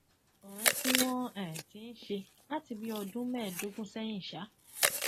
ọrẹ tí wọn um ti ń ṣe láti bíi ọdún mẹẹẹdógún sẹyìn um